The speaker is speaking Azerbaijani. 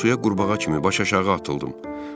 Mən suya qurbağa kimi baş aşağı atıldım.